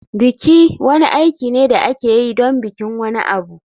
Biki wani aiki ne da ake yi don bikin wani abu.